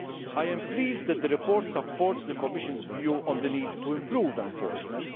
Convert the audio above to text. I am pleased that the report supports the Commission's view on the need to improve enforcement